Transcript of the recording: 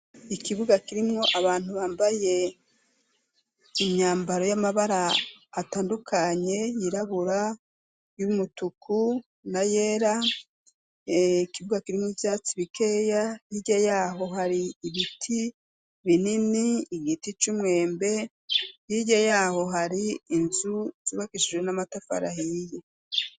ikibuga kirimwo abantu bambaye imyambaro y'amabara atandukanye yirabura y'umutuku na yera ikibuga kirimwo ivyatsi bikeya hirya yaho hari ibiti binini igiti c'umwembe hirya yaho hari inzu zubakishije n'amatafari ahiye